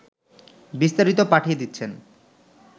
বিস্তারিত পাঠিয়ে দিচ্ছেন